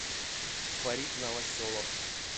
фарид новоселов